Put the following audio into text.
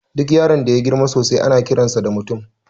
Duk yaron da yagirma sosai ana kiransa da mutum